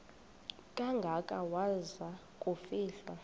kangaka waza kufihlwa